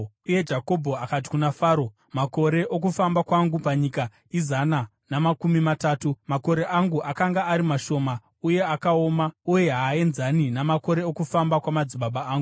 Uye Jakobho akati kuna Faro, “Makore okufamba kwangu panyika izana namakumi matatu. Makore angu akanga ari mashoma uye akaoma, uye haaenzani namakore okufamba kwamadzibaba angu.”